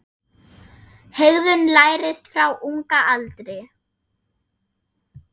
Hegðun lærist frá unga aldri.